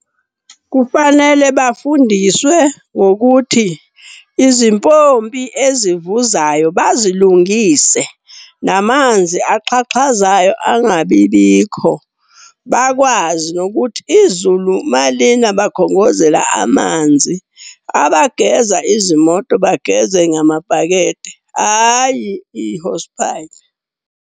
Kufanele bafundiswe ngokuthi izimpompi ezivuzayo bazilungise, namanzi axhaxhazayo angabi bikho. Bakwazi nokuthi izulu malina bakhongozele amanzi. Abageza izimoto bageze ngamabhakede, hhayi i-hosepipe.